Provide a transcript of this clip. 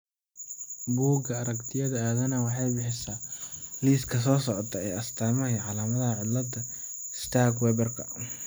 Bugga Aragtiyaha Aadanaha waxay bixisaa liiska soo socda ee astaamaha iyo calaamadaha cillada sturge Weberka.